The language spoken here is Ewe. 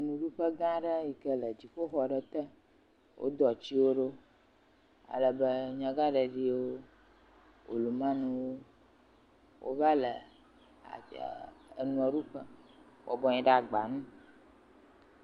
Nuɖuƒe gã aɖe yi ke le dziƒoxɔ aɖe te, wodo atiwo ɖo alebe, nyagãɖeɖiwo olumaniwo wova le enuɖu ƒe bɔbɔnɔ anyi ɖe agba nu.